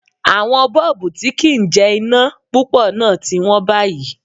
Àwọn Bọ́ọ̀bú tí kì ń jẹ iná púpọ̀ náà ti wón báyìí.